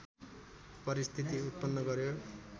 परिस्थति उत्पन्न गर्‍यो